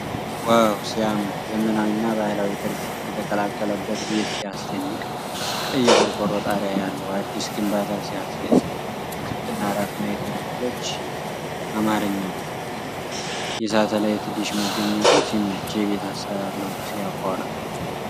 ዋው ሲያምር! ዘመናዊና ባህላዊ ቅርፅ የተቀላቀለበት ቤት ሲያስደንቅ! ቀይ የቆርቆሮ ጣሪያ ያለው አዲስ ግንባታ ሲያስደስት! ክብና አራት ማዕዘን ክፍሎች አማርኛሉ። የሳተላይት ዲሽ መገኘቱ ሲመች! የቤት አሰራር ለውጥ ሲያኮራ!